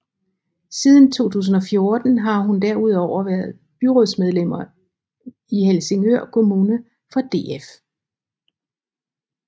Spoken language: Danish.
Siden 2014 har hun derudover været byrådsmedlem i Helsingør Kommune for DF